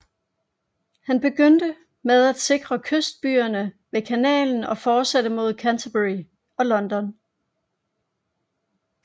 Han begyndte med at sikre kystbyerne ved Kanalen og fortsatte mod Canterbury og London